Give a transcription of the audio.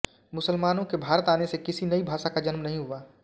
मुसलमानों के भारत आने से किसी नई भाषा का जन्म नहीं हुआ